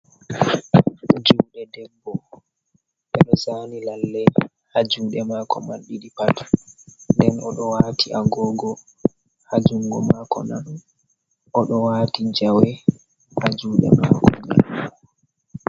Juɗe debbo, ɓe ɗo zani lallei ha juɗe mako man ɗiɗi pat, nden oɗo wati agogo ha jungo mako nanu, oɗo wati jawe ha juɗe mako man.